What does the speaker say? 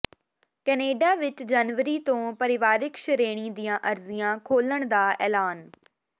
Canada ਵਿੱਚ ਜਨਵਰੀ ਤੋਂ ਪਰਿਵਾਰਕ ਸ਼੍ਰੇਣੀ ਦੀਆਂ ਅਰਜ਼ੀਆਂ ਖੋਲ੍ਹਣ ਦਾ ਐਲਾਨ